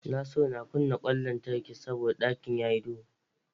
Nasiru na kunna ƙwan lantarki saboda ɗakin ya yi duhu.